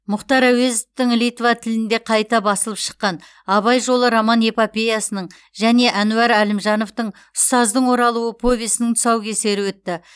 мұхтар әуезовтің литва тілінде қайта басылып шыққан абай жолы роман эпопеясының және әнуар әлімжановтың ұстаздың оралуы повесінің тұсаукесері өтті